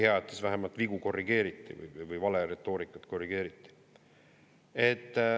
Hea, et siis vähemalt vigu korrigeeriti või vale retoorikat korrigeeriti.